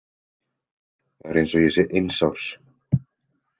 Það er eins og ég sé eins árs.